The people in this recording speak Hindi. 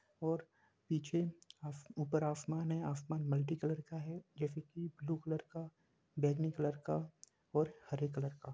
और पीछे ऊपर आसमान है आसमान मलटी कलर है जैसे की ब्लू कलर बैंगनी कलर का हरे कलर का --